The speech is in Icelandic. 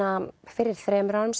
fyrir þremur árum